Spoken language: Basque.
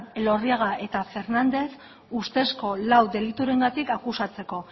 elorriaga eta fernández ustezko lau deliturengatik akusatzeko